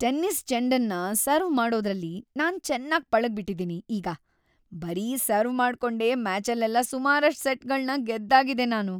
Tennis ಚೆಂಡನ್ನ serve ಮಾಡೋದ್ರಲ್ಲಿ ನಾನ್ ಚೆನ್ನಾಗ್‌ ಪಳಗ್‌ಬಿಟಿದೀನಿ ಈಗ. ಬರೀ ಸರ್ವ್‌ ಮಾಡ್ಕೊಂಡೇ ಮ್ಯಾಚಲ್ಲೆಲ್ಲ ಸುಮಾರಷ್ಟು ಸೆಟ್‌ಗಳ್ನ ಗೆದ್ದಾಗಿದೆ ನಾನು.